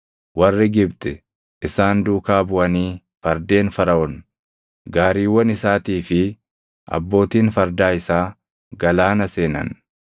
Warri Gibxi isaan duukaa buʼanii fardeen Faraʼoon, gaariiwwan isaatii fi abbootiin fardaa isaa galaana seenan.